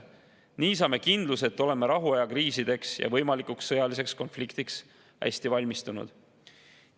Nii saame kindluse, et oleme rahuaja kriisideks ja võimalikuks sõjaliseks konfliktiks hästi valmistunud.